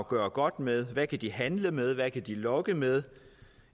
gøre godt med hvad kan de handle med hvad kan de lokke med